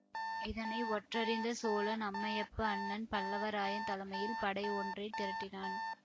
இதனை ஒற்றறிந்த சோழன் அம்மையப்பா அண்ணன் பல்லவராயன் தலைமையில் படை ஒன்றை திரட்டினான்